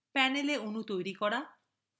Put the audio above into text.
panel অণু তৈরি করা